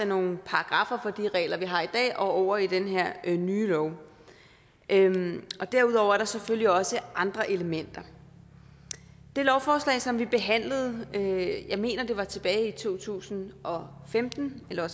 nogle paragraffer for de regler vi har i dag og over i den her nye lov derudover er der selvfølgelig også andre elementer det lovforslag som vi behandlede jeg mener at det var tilbage i to tusind og femten eller